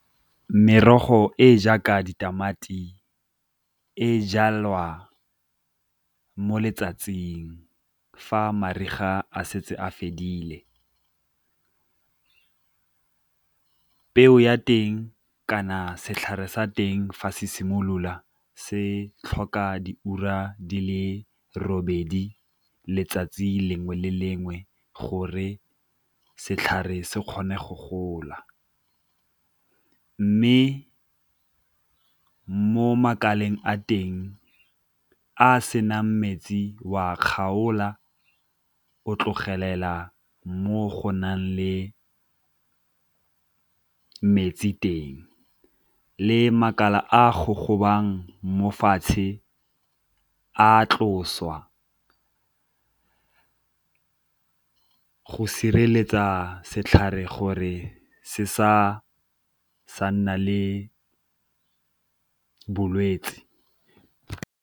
Merogo e e jaaka ditamati e jalwa mo letsatsing fa mariga a setse a fedile. Peo ya teng kana setlhare sa teng fa se simolola se tlhoka diura di le robedi letsatsi lengwe le lengwe gore setlhare se kgone go gola, mme mo makaleng a teng a a senang metsi wa kgaola o tlogelela mo go nang le metsi teng, le makala a go gogobang mo fatshe a tlosiwa go sireletsa setlhare gore se sa nna le bolwetsi.